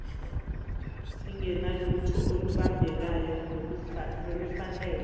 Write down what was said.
singenalutho olubambekayo nolufanele